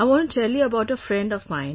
I want to tell you about a friend of mine